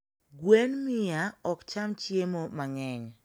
gwen mia okcham hiemo mangeny